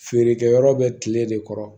Feerekɛyɔrɔ bɛ kile de kɔrɔ